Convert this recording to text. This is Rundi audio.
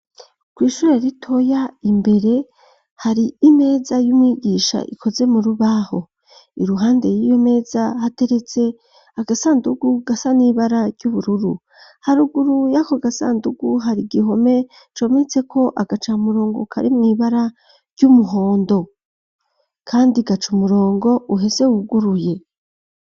Kw ishure ritoya imbere hari imeza y'umwigisha ikoze mu rubaho iruhande y'iyo meza hateretse agasandugu gasa n'ibara ry'ubururu. Haruguru yako gasandugu hari igihome cometse ko agaca murongo kari mu ibara ry'umuhondo kandi gaca umurongo uhese wuguruye.